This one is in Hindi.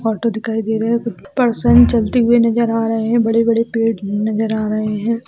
ऑटो दिखाई दे रहे है पर्सन चलते हुए नजर आ रहे है बड़े बड़े पेड भी नजर आ रहे है।